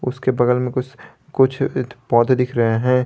उसके बगल में कुछ कुछ पौधे दिख रहे हैं।